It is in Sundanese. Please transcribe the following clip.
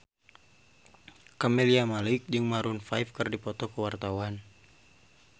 Camelia Malik jeung Maroon 5 keur dipoto ku wartawan